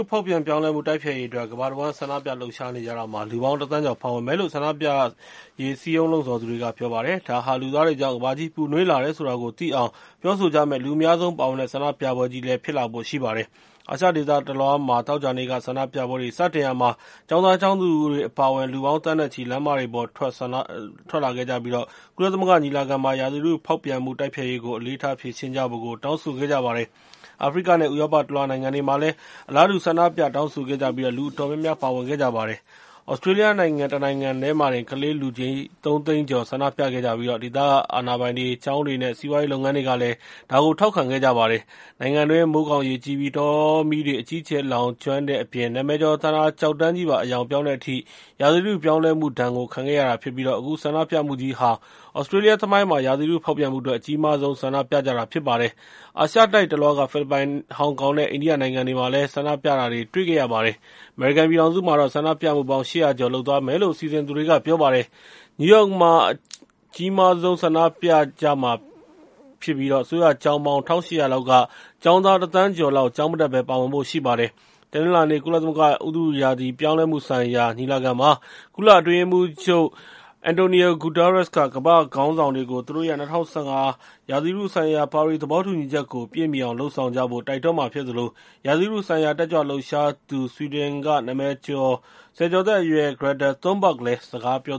ဖောက်ပြန်ပြောင်းလဲမှု တိုက်ဖျက်ရေးအတွက် ကမ္ဘာတဝှမ်း ဆန္ဒပြ လှုပ်ရှားနေကြတာမှာ လူပေါင်းတသန်းကျော် ပါဝင်မယ်လို့ ဆန္ဒပြရေး စည်းရုံးလှုံ့ဆော်သူတွေက ပြောပါတယ်။ ဒါဟာ လူသားတွေကြောင့် ကမ္ဘာကြီးပူနွေးလာတယ် ဆိုတာကို သိအောင် ပြောဆိုကြမယ့် လူအများဆုံးပါဝင်တဲ့ ဆန္ဒပြပွဲကြီး ဖြစ်လာဖို့လည်း ရှိပါတယ်။ အာရှဒေသတလွှားမှာ သောကြာနေ့က ဆန္ဒပြပွဲတွေ စတင်ရာမှာ ကျောင်းသားကျောင်းသူတွေ အပါအဝင် လူပေါင်း သန်းနဲ့ချီ လမ်းမတွေပေါ် ထွက်လာပြီး ကုလသမဂ္ဂ ညီလာခံမှာ ရာသီဥတုဖောက်ပြန်မှု တိုက်ဖျက်ရေးကို အလေးထားဖြေရှင်းဖို့ တောင်းဆိုခဲ့ကြပါတယ်။ အာဖရိကနဲ့ ဥရောပတလွှား နိုင်ငံတွေမှာလည်း အလားတူ ဆန္ဒပြတောင်းဆိုခဲ့ကြပြီး လူအတော်များများ ပါဝင်ခဲ့ကြပါတယ်။ သြစတြေးလျနိုင်ငံ တနိုင်ငံတည်းမှာတင် ကလေး လူကြီး ၃ သိန်းကျော် ဆန္ဒပြခဲ့ကြပြီး ဒေသအာဏာပိုင်တွေ၊ ကျောင်းတွေနဲ့ စီးပွားရေးလုပ်ငန်းတွေကလည်း ထောက်ခံခဲ့ကြပါတယ်။ နိုင်ငံတွင်း မိုးခေါင်၊ ရေကြီးပြီး တောမီးတွေ အကြီးအကျယ် လောင်ကျွမ်းတဲ့အပြင် နာမည်ကျော် သန္တာကျောက်တန်းကြီးပါ အရောင်ပြောင်းခဲ့တဲ့အထိ ရာသီဥတုပြောင်းလဲမှုဒဏ်ကို ခံခဲ့ရတာဖြစ်ပြီး အခုဆန္ဒပြမှုကြီးဟာ သြစတြေးလျသမိုင်းမှာ ရာသီဥတု ဖောက်ပြန်မှုအတွက် အကြီးမားဆုံး ဆန္ဒပြကြတာ ဖြစ်ပါတယ်။ အာရှတိုက်တလွှားက ဖိလစ်ပိုင်၊ ဟောင်ကောင်နဲ့ အိန္ဒိယ နိုင်ငံတွေမှာလည်း ဆန္ဒပြတာတွေ တွေ့ရပါတယ်။ အမေရိကန်ပြည်ထောင်စုမှာတော့ ဆန္ဒပြမှုပေါင်း ၈၀၀ ကျော် လုပ်သွားမယ်လို့ စီစဉ်သူတွေက ပြောပါတယ်။ နယူးယောက်မှာ အကြီးမားဆုံး ဆန္ဒပြပွဲ ကျင်းပမှာဖြစ်ပြီး အစိုးရကျောင်းပေါင်း ၁၈၀၀ လောက်က ကျောင်းသားတသန်းကျော်လောက် ကျောင်းမတက်ဘဲ ပါဝင်ဖို့ရှိပါတယ်။ တနင်္လာနေ့ ကုလသမဂ္ဂ ဥတုရာသီပြောင်းလဲမှုဆိုင်ရာ ညီလာခံမှာ ကုလအတွင်းရေးမှူးချုပ် Antonio Guterres က ကမာ့္ဘခေါင်းဆောင်တွေကို သူတို့ရဲ့ ၂၀၁၅ ဥတုရာသီဆိုင်ရာ ပါရီသဘောတူညီချက်ကို ပြည့်မီအောင် လုပ်ဆောင်ကြဖို့ တိုက်တွန်းမှာဖြစ်သလို ရာသီဥတုဆိုင်ရာ တက်ကြွလှုပ်ရှားသူ ဆွီဒင်က နာမည်ကျော် ဆယ်ကျော်သက် Greta Thunberg လည်း စကားပြော